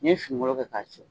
N'i ye finigolo kɛ k'a siri